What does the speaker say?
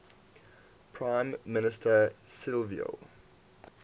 prime minister silvio